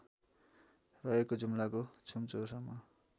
रहेको जुम्लाको छुमचौरसम्म